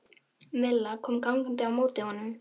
Milla kom gangandi á móti honum.